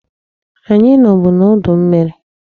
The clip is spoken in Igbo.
Anyị nọbụ n'udu mmiri.